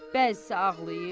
Bəzisi ağlayır.